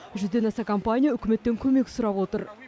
жүзден аса компания үкіметтен көмек сұрап отыр